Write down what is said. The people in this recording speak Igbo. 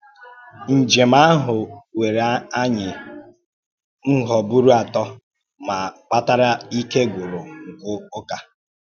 Ǹjèm ahụ̀ wèrè ànyì ǹhụ́bụ́rù atọ̀ mà kpatàrè íkè gwụ̀rụ̀ nke ùkà.